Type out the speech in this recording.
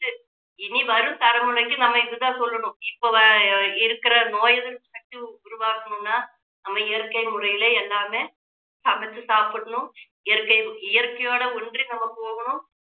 இனி வரும் தலைமுறைக்கு நம்ம இதை தான் சொல்லணும் இப்போ வ~ இருக்கிற நோய் எதிர்ப்பு சக்தி உருவாகணும்னா நம்ம இயற்கை முறையில எல்லாமே சமைச்சு சாப்பிடணும் இயற்கை இயற்கையோடு ஒன்றி நம்ம போகணும்